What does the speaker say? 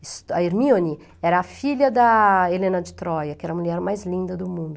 A Hermione era a filha da Helena de Troia, que era a mulher mais linda do mundo.